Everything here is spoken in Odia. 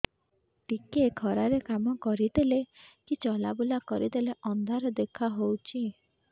ଟିକେ ଖରା ରେ କାମ କରିଦେଲେ କି ଚଲବୁଲା କରିଦେଲେ ଅନ୍ଧାର ଦେଖା ହଉଚି